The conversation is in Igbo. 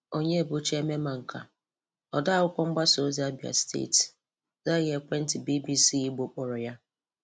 Onyebuchi Ememanka, Odeakwụkwọ Mgbasa ozi Abịa Steeti, zọghị ekwentị BBC Igbo kpọrọ ya.